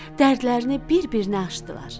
Dərdlərini bir-birinə açdılar.